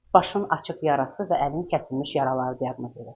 Başının açıq yarası və əlin kəsilmiş yaraları diaqnoz edilib.